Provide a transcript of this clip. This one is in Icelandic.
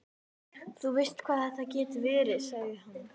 Þú veist hvað þetta getur verið, sagði hann.